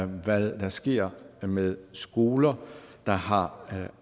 hvad der sker med skoler der har